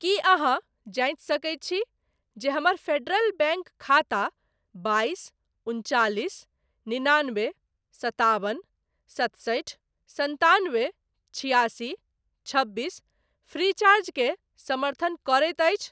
की अहाँ जाँचि सकैत छी जे हमर फेडरल बैंक खाता बाइस उनचालिस निनानबे सताबन सतसठि सन्तानबे छिआसी छबीस फ्रीचार्ज के समर्थन करैत अछि ?